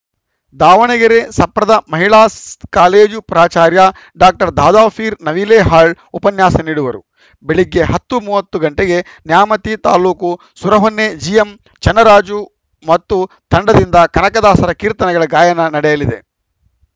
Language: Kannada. ದಾವಣಗೆರೆ ಸಪ್ರದ ಮಹಿಳಾ ಕಾಲೇಜು ಪ್ರಾಚಾರ್ಯ ಡಾಕ್ಟರ್ ದಾದಾಪೀರ್‌ ನವಿಲೇಹಾಳ್‌ ಉಪನ್ಯಾಸ ನೀಡುವರು ಬೆಳಗ್ಗೆ ಹತ್ತು ಮೂವತ್ತು ಗಂಟೆಗೆ ನ್ಯಾಮತಿ ತಾಲೂಕು ಸುರಹೊನ್ನೆ ಜಿಎಂ ಚನ್ನರಾಜ ಮತ್ತು ತಂಡದಿಂದ ಕನಕದಾಸರ ಕೀರ್ತನೆಗಳ ಗಾಯನ ನಡೆಯಲಿದೆ